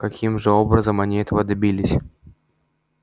каким же образом они этого добились